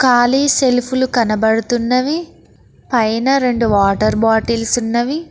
కాళీ సెల్ఫులు కనబడుతున్నవి పైన రెండు వాటర్ బాటిల్స్ ఉన్నవి.